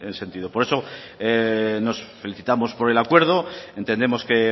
ese sentido por eso nos felicitamos por el acuerdo entendemos que